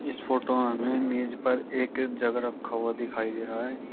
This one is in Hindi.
इस फोटो में हमें मेज पर एक जग रखा हुआ दिखाई दे रहा है।